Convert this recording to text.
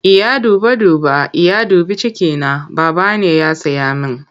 Iya duba duba, Iya dubi cikina, Baba ne ya saya min.